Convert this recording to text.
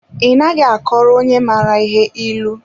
I naghị a kọwara onye mara ihe ịlụ.